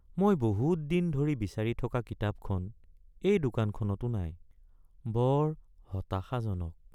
মই বহুত দিন ধৰি বিচাৰি থকা কিতাপখন এই দোকানখনতো নাই, বৰ হতাশাজনক!